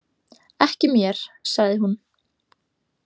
Ekki mér, sagði hún.